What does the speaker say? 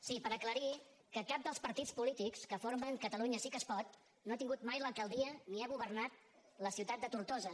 sí per aclarir que cap dels partits polítics que formen catalunya sí que es pot no ha tingut mai l’alcaldia ni ha governat la ciutat de tortosa